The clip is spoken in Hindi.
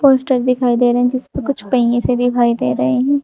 पोस्टर दिखाई दे रहे हैं जिसपे कुछ पहिए से दिखाई दे रहे हैं।